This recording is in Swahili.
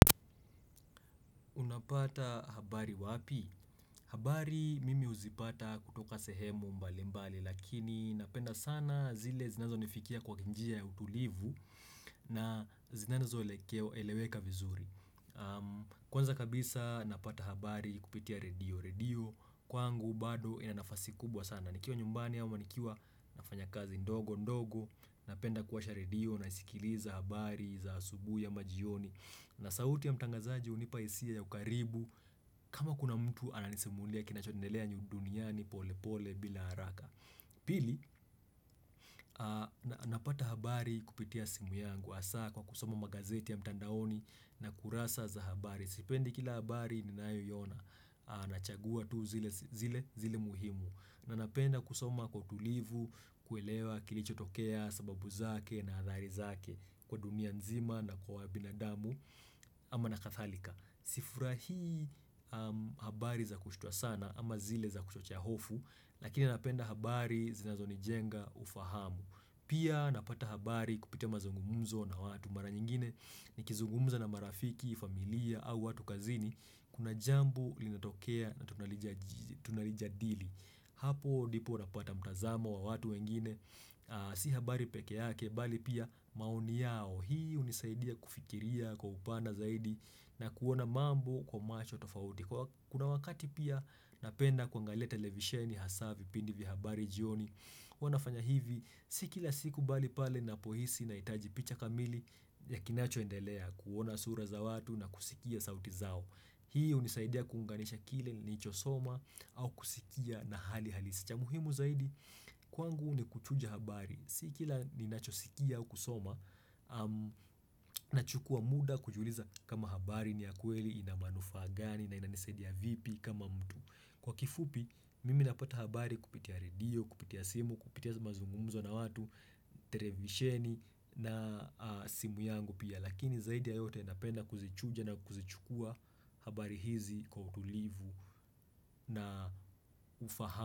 Unapata habari wapi? Habari mimi huzipata kutoka sehemu mbali mbali lakini napenda sana zile zinazonifikia kwa ki njia ya utulivu, na zinazo elekew eleweka vizuri. Am Kwanza kabisa napata habari kupitia redio. Redio kwangu bado ina nafasi kubwa sana. Na nikiwa nyumbani ama nikiwa nafanya kazi ndogo ndogo, napenda kuwasha redio naisikiliza habari za asubuhi ama jioni na sauti ya mtangazaji hunipa hisia ya ukaribu kama kuna mtu ananisimulia kinachoendelea nyu duniani pole pole bila haraka Pili, aa na napata habari kupitia simu yangu, hasaa kwa kusoma magazeti ya mtandaoni na kurasa za habari. Sipendi kila habari ninayoiona. Aa nachagua tu zile zile zile muhimu. Na napenda kusoma kwa utulivu, kuelewa kilicho tokea, sababu zake na hadhari zake kwa dunia nzima na kwa binadamu ama na kathalika. Sifurahii am habari za kushutua sana ama zile za kuchochea hofu, lakini napenda habari zinazonijenga ufahamu. Pia napata habari kupitia mazungumuzo na watu, mara nyingine nikizungumza na marafiki, familia au watu kazini, kuna jambo linatokea natunalijaz tunalijadili. Hapo dipo unapata mtazamo wa watu wengine, aa si habari peke yake, bali pia maoni yao. Hii hunisaidia kufikiria kwa upana zaidi na kuona mambo kwa macho tofauti. Kuna wakati pia napenda kuangalia televisheni hasaa vipindi vya habari jioni. Huwa nafanya hivi, sii kila siku bali pale napohisi naitaji picha kamili ya kinachoendelea, kuona sura za watu na kusikia sauti zao. Hii hunisaidia kuunganisha kile nilichosoma au kusikia na hali halisi. Cha muhimu zaidi, kwangu nikuchuja habari. Sii kila ninachosikia au kusoma, am nachukua muda kujiuliza kama habari ni ya kweli, ina manufaa gani na inanisaidia vipi kama mtu. Kwa kifupi mimi napata habari kupitia redio, kupitia simu, kupitia mazungumzo na watu, terevisheni na aa, simu yangu pia. Lakini zaidi ya yote, napenda kuzichuja na kuzichukua habari hizi kwa utulivu na ufaha.